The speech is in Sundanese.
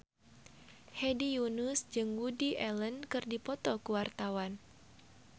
Hedi Yunus jeung Woody Allen keur dipoto ku wartawan